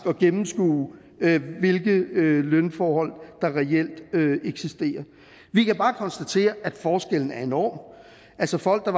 at gennemskue hvilke lønforhold der reelt eksisterer vi kan bare konstatere at forskellen er enorm altså folk